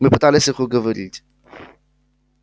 мы пытались их уговорить